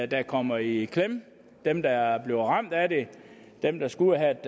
der kommer i klemme dem der bliver ramt af det dem der skal ud at have